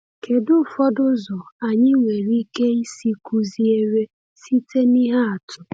Kedu ụfọdụ ụzọ anyị nwere ike isi kụziere site n’ihe atụ?